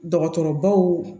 Dɔgɔtɔrɔbaw